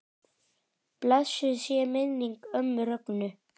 Blessuð sé minning ömmu Rögnu.